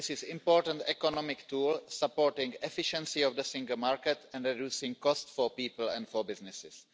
It is an important economic tool, supporting the efficiency of the single market and reducing costs for people and for businesses.